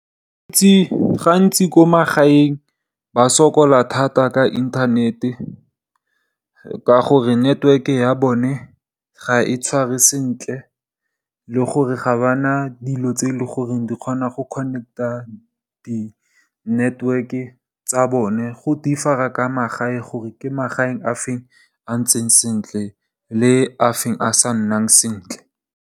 Gantsi ko magaeng ba sokola thata ka inthanete, ka gore network ya bone ga e tshware sentle le gore ga ba na dilo tse e leng gore di kgona go connect-a di network-e tsa bone go differ-a ka magae gore ke magaeng a feng a ntseng sentle le a feng a sa nnang sentle.